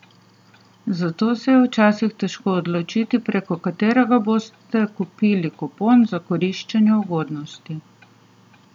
Zato se je včasih težko odločiti preko katerega boste kupili kupon za koriščenje ugodnosti.